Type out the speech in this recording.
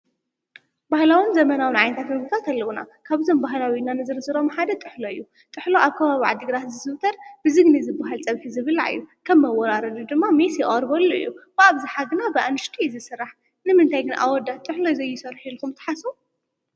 ባህላውን ዘመናውን ዓይነታት ምግብታት ኣለዉና፡፡ ካብዞም ባህላዊ ኢልና ንዝርዝሮም ሓደ ጥሕሎ እዩ፡፡ ጥሕሎ ኣብ ከባቢ ዓዲ ግራት ዝዝውተር ብዝግኒ ዝበሃል ፀብሒ ዝብላዕ እዩ፡፡ ከም መወራረዲ ድማ ሜስ ይቐርበሉ እዩ፡፡ ብኣብዝሓ ግና ብኣንሽቲ እዩ ዝስራሕ፡፡ ንምንታይ ግን ጥሕሎ ብኣወዳት ዘይስራሕ ኢልኩም ትሓስቡ?